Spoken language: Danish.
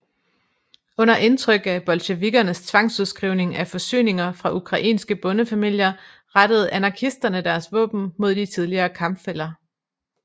Under indtryk af bolsjevikkernes tvangsudskrivning af forsyninger fra ukrainske bondefamilier rettede anarkisterne deres våben mod de tidligere kampfæller